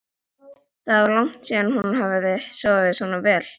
Það var langt síðan hún hafði sofið svona vel.